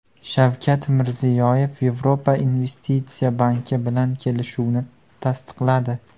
Shavkat Mirziyoyev Yevropa investitsiya banki bilan kelishuvni tasdiqladi.